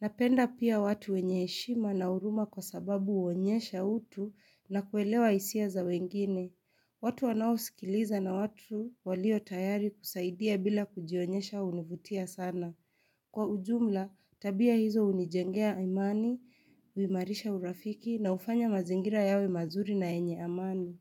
Napenda pia watu wenye eshima na uruma kwa sababu uonyesha utu na kuelewa isia za wengine. Watu wanaosikiliza na watu walio tayari kusaidia bila kujionyesha univutia sana. Kwa ujumla, tabia hizo unijengea imani, uimarisha urafiki na ufanya mazingira yawe mazuri na enye amani.